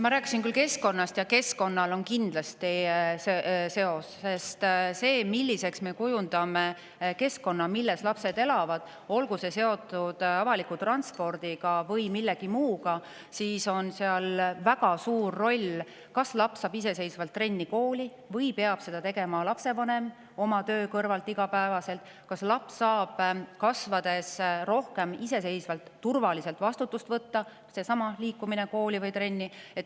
Ma rääkisin küll keskkonnast ja keskkonnal on kindlasti sellega seos, sest sellel, milliseks me kujundame keskkonna, milles lapsed elavad, olgu see seotud avaliku transpordiga või millegi muuga, on väga suur roll: kas laps saab iseseisvalt trenni-kooli või peab viima lapsevanem oma töö kõrvalt iga päev, kas laps saab kasvades rohkem iseseisvalt turvaliselt vastutust võtta – seesama liikumine kooli või trenni.